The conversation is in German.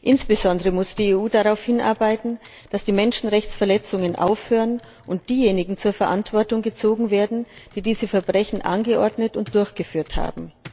Insbesondere muss die EU darauf hinarbeiten, dass die Menschenrechtsverletzungen aufhören und diejenigen zur Verantwortung gezogen werden, die diese Verbrechen angeordnet und durchgeführt haben.